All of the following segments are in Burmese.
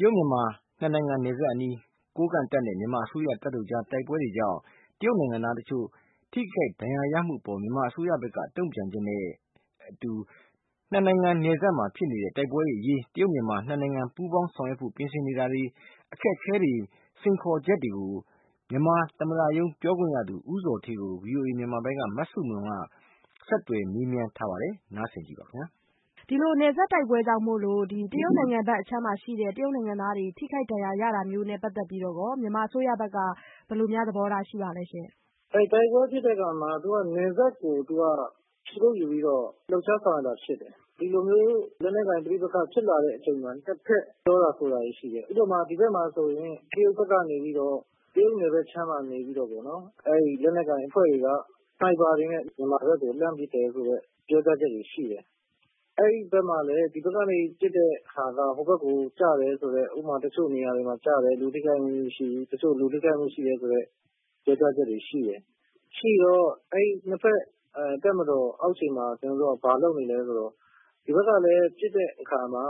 တရုတ်-မြန်မာ နှစ်နိုင်ငံ နယ်စပ်အနီးမှာ ကိုးကန့်တပ်နဲ့ မြန်မာအစိုးရတပ်တို့ကြား တိုက်ပွဲတွေကြောင့် တရုတ်နိုင်ငံသား အချို့ ထိခိုက်ဒဏ်ရာရမှု အပေါ် မြန်မာအစိုးရဘက်က တုန့်ပြန်ချက် နဲ့ အတူ နှစ်နိုင်ငံ နယ်စပ်မှာဖြစ်နေတဲ့ တိုက်ပွဲတွေအရေး တရုတ်-မြန်မာ နှစ်နိုင်ငံ ပူးပေါင်းဆောင်ရွက်ဖို့ပြင်ဆင်နေတာတွေ အခက်အခဲ စိန်ခေါ်ချက်တွေကို မြန်မာသမ္မတရုံးပြောခွင့်ရ ဦးဇော်ဌေးကို ဗွီအိုအေမြန်မာပိုင်းက မဆုမွန်က ဆက်သွယ်မေးမြန်းထားတာ နားဆင်ပါ။ ဒီလိုနယ်စပ်တိုက်ပွဲကြောင့်မို့လို့ တရုတ်နိုင်ငံထဲမှာ ရှိတဲ့ တရုတ်နိုင်ငံသားတွေ ထိခိုက်ဒဏ်ရာရတာမျိုး နဲ့ပတ်သက်ပြီးတော့ မြန်မာအစိုးရဘက်က ဘယ်လိုများ သဘောထားရှိပါလဲရှင့်။ တိုက်ပွဲဖြစ်တဲ့အခါမှာ နယ်စပ်ဒေသကို ခြေကုတ်ယူပြီးတော့ လှုပ်ရှား ဆောင်ရွက်တာဖြစ်တယ်။ ဒီလိုမျိုး လက်နက်ကိုင် ပဋိပက္ခ ဖြစ်လာတဲ့အချိန်မှာ ၂ ဘက် ပြောတာဆိုတာတွေရှိတယ်။ ဥပမာ- တရုတ်နယ်ဘက်အခြမ်းက လက်နက်ကိုင်တွေက လက်နက်တွေနဲ့ မြန်မာဘက်ကို လှမ်းပစ်တယ်ဆိုပြီးတော့ ပြောတာတွေရှိတယ်။ အဲဒီဘက်မှာလည်း ဒီဘက်ကနေ ပစ်တာက ဟိုဘက်ကိုကျတယ်ဆိုတဲ့ ဥပမာ တချို့နေရာတွေမှာ ကျတယ်၊ လူ ထိခိုက်မှုမရှိဘူး။ တချို့လူထိခိုက်မှုရှိတယ်။ ဆိုပြီးတော့ ပြောတာတွေရှိတယ်။ ရှိတော့ အဲဒီ ၂ ဖက်တပ်မတော်အောက်ခြေမှာ ကျတော်တို့က ဘာလုပ်နေသလဲဆိုတော့ ဒီဘက်ကလည်း ပစ်တဲ့အခါမှာ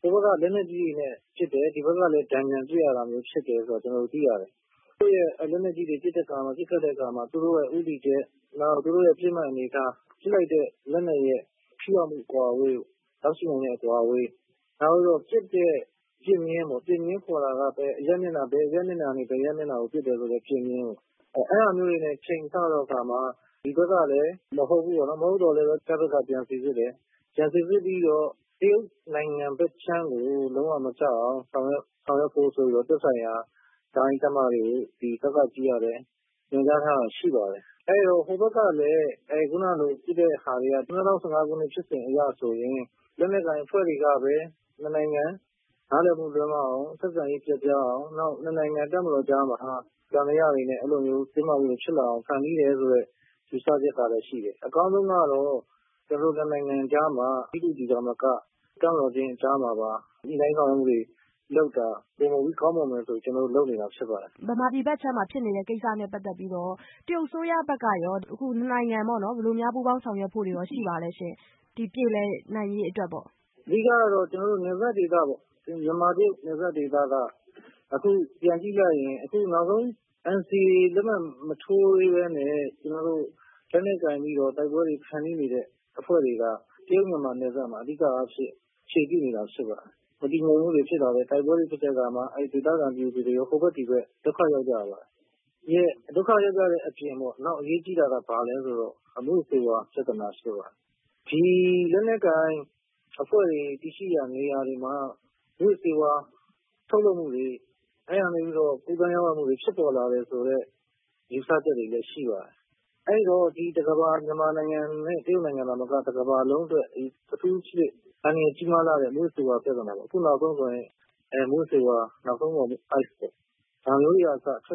ဟိုဘက်က လက်နက်ကြီးတွေနဲ့ ပစ်တယ်၊ ဒီဘက်က တန်ပြန်ပစ်ရတာဆိုတာမျိုးဖြစ်တဲ့ အခါကျတော့ ကျနော်တို့တွေ့ရတယ်။ လက်နက်ကြီးတွေနဲ့ ပစ်တဲ့အခါမှာ သူတို့ ဦးတည်ချက် ၊ နောက်သူတို့ ပစ်မှတ်အနေအထား ။ ပစ်လိုက်တဲ့လက်နက်ရဲ့ ထိရောက်မှုအကွာအဝေးကို ၊ နောက်ပြီးတော့ ပစ်တဲ့ ပစ်မျဉ်းပေါ့နော် ဘယ်အရပ်မျက်နှာကနေ ဘယ်အရပ်ကိုပစ်တယ်ဆိုတာတွေ နဲ့ ချိန်ဆတဲ့အခါမှာ ဒီဘက်ကလည်းမဟုတ်ဘူးပေါ့နော် ၊ မဟုတ်သော်လည်း ကျနော်တို့က ပြန်စိစစ်တယ်။ ပြီးတော့ တရုတ်နိုင်ငံဘက်ခြမ်းကို လုံးဝမကျအောင် ဆောင်ရွက်ဖို့ဆိုပြီးတော့ သက်ဆိုင်ရာတိုင်း ၊ တပ်မ တွေကို ညွှန်ကြားထားတာရှိပါတယ်။ အဲဒီတော့ ဟိုဘက်ကလည်း အဲလိုပစ်တဲ့ဟာတွေက ၂၀၁၅ တုန်းက ဖြစ်စဉ်မှာလည်း လက်နက်ကိုင်အဖွဲ့တွေက ၂ နိုင်ငံ နားလည်မှုလွဲမှားအောင် ဆက်ဆံရေး ပျက်ပြားအောင် ၂ နိုင်ငံ တပ်မတော်တွေကြားမှာ သံသယတွေနဲ့ တင်းမာမှုဖြစ်လာအောင် ဖန်တီးတယ်ဆိုတဲ့ ယူဆချက်ရှိတယ် အကောင်းဆုံးကတော့ ကျနော်တို့ ၂ နိုင်ငံကြားမှာ G to G သာမက တပ်မတော် အချင်းချင်းကြားမှာ ပါ ညှိနှိုင်းဆောင်ရွက်မှုတွေ လုပ်တာ ပိုမိုပြီး ကောင်းမွန်မယ်ဆိုတဲ့ အတွက် ကျနော်တို့ လုပ်နေတာဖြစ်ပါတယ်။ အခုလို မြန်မာပြည်ဘက်ခြမ်းမှာ ဖြစ်နေတဲ့ကိစ္စနဲ့ပတ်သက်ပြီး တရုတ်အစိုးရဘက်က မြန်မာပြည် အရေး နှစ်နိုင်ငံ ဘယ်လိုမျိုး ပူးပေါင်းဆောင်ရွက်ဖို့ရှိပါလဲရှင့်။ ဒီပြေလည်နိုင်ရေးအတွက်ပေါ့။ အဓိကတော့ နယ်စပ်ဒေသ ပေါ့ မြန်မာ-တရုတ် နယ်စပ်ဒေသ က အခုပြန်ကြည့်လိုက်ရင် NCA လက်မှတ်မထိုးပဲ နဲ့ လက်နက်ကိုင်ပြီးတော့ တိုက်ပွဲဖန်တီးနေတဲ့အဖွဲ့တွေကမြန်မာ-တရုတ် နယ်စပ်မှာ အဓိက အခြေပြုနေတာဖြစ်ပါတယ်။ မတည်ငြိမ်မှုတွေဖြစ်လာလေ၊ တိုက်ပွဲတွေဖြစ်လာတဲ့အခါမှာ ဒေသခံပြည်သူတွေ ဒုက္ခရောက်ကြပါတယ်။ ဒုက္ခရောက်ကြတဲ့အပြင်အရေးကြီးတာက မူးယစ်ဆေးဝါးပြဿနာရှိတယ်။ ဒီလက်နက်ကိုင်အဖွဲ့တွေ တည်ရှိရာနေရာတွေမှာ မူးယစ်ဆေးဝါးထုတ်လုပ်မှုတွေ၊ အဲဒီကနေ ကူးသန်းရောင်းဝယ်မှုတွေဖြစ်ပေါ်လာတယ်ဆိုတဲ့ ယူဆချက်တွေလည်း ရှိပါတယ်။ အဲဒီတော့ မြန်မာနိုင်ငံ-တရုတ်နိုင်ငံသာမက တကမ္ဘာလုံးအတွက် အထူးသဖြင့် အန္တရာယ်ကြီးလှတဲ့ မူးယစ်ဆေးဝါး ပြဿနာပေါ့ ဒါတွေ ထွက်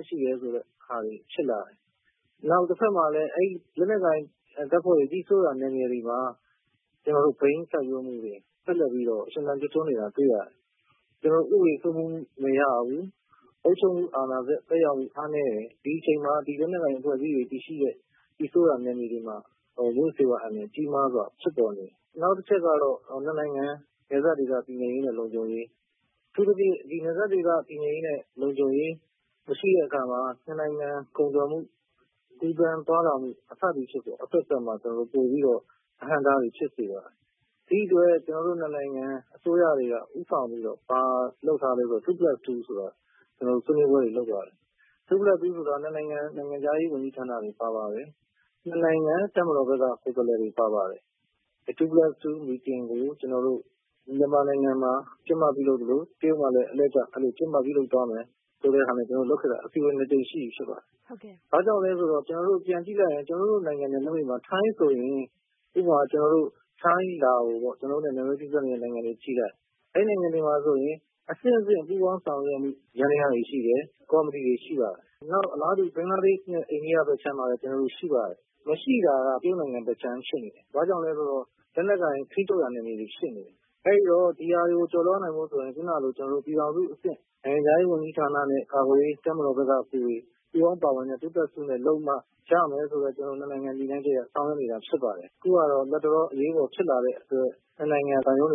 ရှိတယ်ဆိုတဲ့ဟာတွေဖြစ်လာတယ်။ တဘက်မှာလည်း လက်နက်ကိုင်တပ်ဖွဲ့တွေ ကြီးစိုးတဲ့ နယ်မြေတွေမှာ ဘိန်းစိုက်ပျိုးမှုတွေ ဆက်လက်ပြီးတော့ ရှင်သန်နေတာတွေတွေ့ရတယ်။ ကျနော်တို့ ဥပဒေစိုးမိုးမှုမရှိဘူး၊ အုပ်ချုပ်မှု အားနည်းတယ် ဒီအချိန်မှာ လက်နက်ကိုင်တပ်ဖွဲ့တွေ ကြီးစိုးတဲ့ နယ်မြေတွေမှာ မူးယစ်ဆေးဝါးအန္တရာယ်ကြီးမားစွာ ဖြစ်ပေါ်နေတယ်။ နောက်တချက်ကတော့ ၂ နိုင်ငံ နယ်စပ်ဒေသ တည်ငြိမ်ရေးနဲ့ လုံခြုံရေး အထူးသဖြင့် ဒီ နယ်စပ်ဒေသ တည်ငြိမ်ရေးနဲ့ လုံခြုံရေးမရှိတဲ့အခါမှာ ၂ နိုင်ငံ ကုန်သွယ်မှု ကူးသန်းသွားလာမှု စသည်ဖြင့် အဘက်ဘက်မှာ ကျနော်တို့ အဟန့်အတားတွေဖြစ်စေပါတယ်။ ဒီအတွက် ၂ နိုင်ငံ အစိုးရတွေဦးဆောင်ပြီးတော့ ဘာတွေလုပ်ထားသလဲဆိုရင် Two-plus-Two တွေလုပ်ထားပါတယ်။ Two-plus-Two ဆိုတာ ၂ နိုင်ငံ နိုင်ငံခြားရေးဝန်ကြီးဌာနတွေပါတယ်။ ၂ နိုင်ငံ တပ်မတော်ဘက်က ကိုယ်စားလှယ်တွေပါတယ် Two-plus-Two meeting တွေကို မြန်မာမှာ ကျင်းပပြုလုပ်သလို တရုတ်မှာလည်း အလှည့်ကျ ကျင်းပပြုလုပ်သွားမယ်ဆိုပြီးတော့ ကျနော်တို့လုပ်ခဲ့တာ အစည်းအဝေး ၂ ကြိမ်ရှိပြီဖြစ်ပါတယ်။ ဒါကြောင့် ကျနော်တို့ပြန်ကြည့်လိုက်ရင် အခုဆိုရင် ကျနော်တို့ ထိုင်း၊ လာအို ဒီလို နယ်နိမိတ်ထိစပ်နေတဲ့ နိုင်ငံတွေကြည့်လိုက် ၊ အဲဒီနိုင်ငံတွေမှာဆိုရင် အဆင့်ဆင့် ပူးပေါင်းဆောင်ရွက်မှု ယန္တယားတွေရှိတယ်၊ ကော်မတီတွေရှိပါတယ်။ အလားတူ ဘင်္ဂလားဒေ့် ၊ အိန္ဒိယဘက်မှာလည်းရှိပါတယ်။ မရှိတာက တရုတ်နိုင်ငံဘက်ဖြစ်နေတယ် ဘာကြောင့်လဲဆိုတော့ လက်နက်ကိုင်ထိန်းချုပ်ရာနယ်မြေတွေ ဖြစ်နေတယ် အဲဒီတော့ ဒီဟာတွေကို ကျော်လွားနိုင်ဖို့ဆိုရင် ပြည်ထောင်စုအဆင့် နိုင်ငံခြားရေးဝန်ကြီးနဲ့ ကာကွယ်ရေး တပ်မတော်ဘက်ကလူတွေ ပူးပေါင်းပါဝင်လုပ်မှ ရမယ်ဆိုတဲ့ ၂ နိုင်ငံ ရည်မှန်းချက်နဲ့ ဆောင်ရွက်နေတာဖြစ်ပါတယ် အခုကတော့လက်တလော အရေးပေါ်ဖြစ်လာတဲ့အတွက် ၂ နိုင်ငံ သံရုံးတွေ